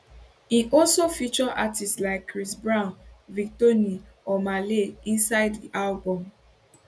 im also feature artistes like chris brown victony omah lay inside di album